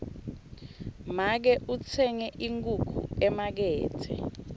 make utsenge inkhukhu emakethe